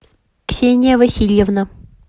ксения васильевна